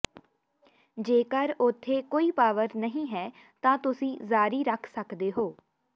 ਜੇਕਰ ਉਥੇ ਕੋਈ ਪਾਵਰ ਨਹੀਂ ਹੈ ਤਾਂ ਤੁਸੀਂ ਜਾਰੀ ਰੱਖ ਸਕਦੇ ਹੋ